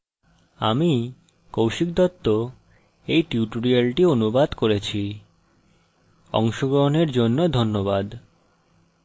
আমি কৌশিক দত্ত এই টিউটোরিয়ালটি অনুবাদ করেছি অংশগ্রহনের জন্য ধন্যবাদ